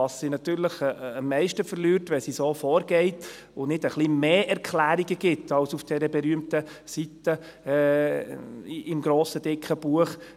Was sie natürlich am meisten riskiert, ist der Verlust der Glaubwürdigkeit, wenn sie so vorgeht, und nicht etwas mehr Erklärungen abgibt als auf der berühmten Seite im grossen dicken Buch.